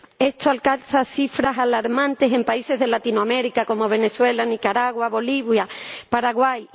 Esto alcanza cifras alarmantes en países de Latinoamérica, como Venezuela, Nicaragua, Bolivia, Paraguay.